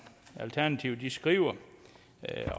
alternativet skriver